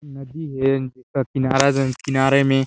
नदी है नदी का किनारे जो की किनारे में--